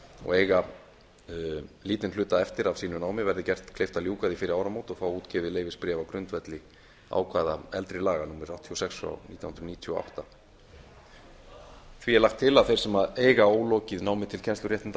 og eiga lítinn hluta eftir af sínu námi verði gert kleift að ljúka því fyrir áramót og fá útgefið leyfisbréf á grundvelli ákvæða eldri laga númer áttatíu og sex nítján hundruð níutíu og átta því er lagt til að þeir sem eiga ólokið námi til kennsluréttinda